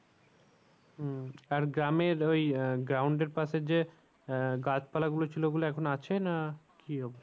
হম আর গ্রামের ওই আহ ground এর পাশে যে আহ গাছ পালা গুলো ছিল ওগুলো এখনো আছে না কি অবস্থা?